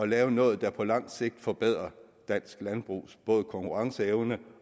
lave noget der på lang sigt forbedrer dansk landbrugs konkurrenceevne